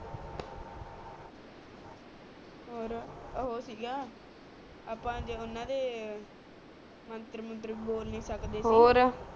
ਔਰ ਓ ਸੀ ਗਾ ਆਪਾ ਊਨਾ ਦੇ ਮੰਤਰੀ ਮੰਤਰੀ ਬੋਲ ਨੀ ਸਕਦੇ ਸੀ ਔਰ